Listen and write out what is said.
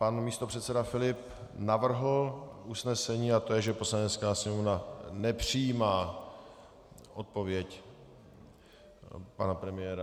Pan místopředseda Filip navrhl usnesení, a to je, že Poslanecká sněmovna nepřijímá odpověď pana premiéra.